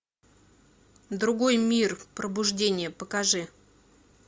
другой мир пробуждение покажи